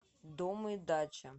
дом и дача